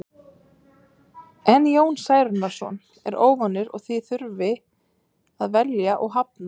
En Jón Særúnarson er óvanur því að þurfa að velja og hafna.